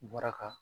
Bɔra ka